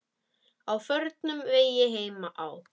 Á förnum vegi heima á